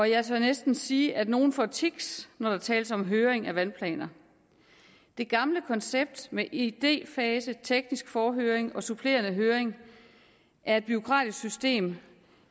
jeg tør næsten sige at nogle får tics når der tales om høring af vandplaner det gamle koncept med idéfase teknisk forhøring og supplerende høring er et bureaukratisk system